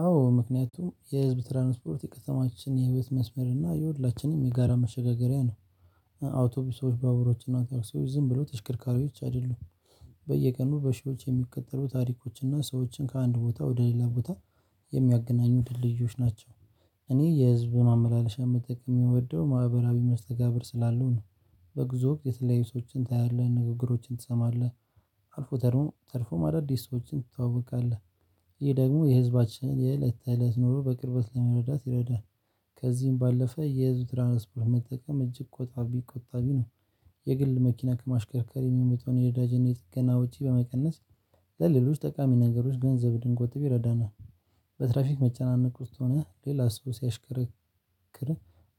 አዎ ምክንያቱም የህዝብ ትራንስፖርት የከተማችን የህይወት መስመር እና የሁላችንም የጋራ መሸጋገሪያ ነው አውቶቢሶች ባቡሮች እና ታክሲዎች ዝም ብለው ተሽከርካሪዎች አይደሉም በየቀኑ በሺዎች የሚቆጠሩ ታሪኮች እና ሰዎችን ከአንድ ቦታ ወደ ሌላ ቦታ የሚያገናኙ ድልድዮች ናቸው እኔ የህዝብን ማመላለሻ የምትጠቅም የምወደው ማህበራዊ መስተጋብር ስላለው ነው በጉዞ የተለያየ ሰዎችን ታያለህ ንግግሮችን ትሰማለህ አልፎ ተርፎ ተርፎ አዳዲስ ሰዎችን ትተዋቃለህ ይህ ደግሞ የህዝባችንን የእለት ታላት ኑሮ በቅርበት ለመረዳት ይረዳል ከዚህም ባለፈ የህዝብ ትራንስፖርት መጠቀም እጅግ ቆጣቢ ቆጣቢ ነው የግል መኪና ከማሽከርከር የሚመጣዉን የነዳጅነ ና የጥገና ውጪ በመቀነስ ለሌሎች ጠቃሚ ነገሮች ገንዘብ ድንቆት ይረዳናል። በትራፊክ መጨናነቅ ውስጥ ሆነህ ሌላ ሰው ሲያሽከርክር